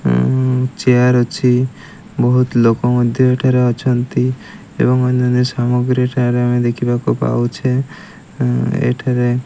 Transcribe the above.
chair ଅଛି ବୋହୁତ ଲୋକ ମଧ୍ୟ ଏଠାରେ ଅଛନ୍ତି ଏବଂ ଅନ୍ୟାନ୍ୟ ସାମଗ୍ରି ଏଠାରେ ଆମେ ଦେଖିବାକୁ ପାଉଛେ ଏଠାରେ --